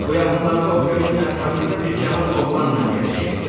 Bu yaxınlarda o gölün ətrafında bir cavan oğlanla gəzişirdi.